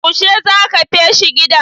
Yaushe za ka feshi gidan?